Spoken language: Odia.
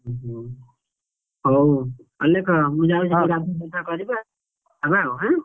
ହୁଁ ହୁଁ, ହଉ ଅଲେଖ ମୁଁ ଯାଉଛି ଟିକେ ଗାଢୁଆ ପାଧୁଆ କରିବି ଆଉ, ହେଲା ଆଉ ଆଁ।